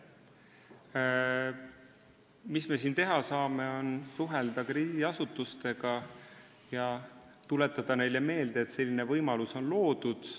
See, mida me siin teha saame, on suhelda krediidiasutustega ja tuletada neile meelde, et selline võimalus on loodud.